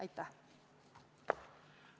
Aitäh!